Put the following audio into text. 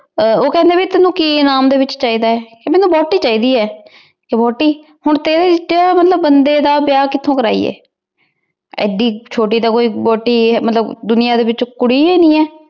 ਊ ਕਹੰਦਾ ਭੀ ਤੇਨੁ ਕੀ ਇਨਾਮ ਡੀ ਵਿਚ ਚੀ ਦਾ ਆਯ ਭੀ ਮੇਉ ਵੋਥੀ ਚੀ ਦੀ ਆ ਵੋਹਟੀ ਹਨ ਤੇਰੀ ਤੇਰੀ ਵਰਗੀ ਬੰਦੀ ਦਾ ਵਿਯਾਹ ਮਤਲਬ ਕਿਥੋਂ ਕਰਿਯੇ ਏਡੀ ਚੋਟੀ ਤਾਂ ਕੋਈ ਵੋਹਟੀ ਮਤਲਬ ਦੁਨਿਆ ਡੀ ਵਿਚ ਕੋਈ ਕੁਰੀ ਈ ਨਾਈ ਹੈ